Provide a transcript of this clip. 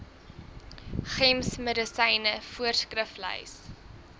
gems medisyne voorskriflys